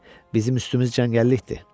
Bizim üstümüz cəngəllikdir.